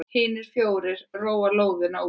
Hinir fjórir róa lóðina út.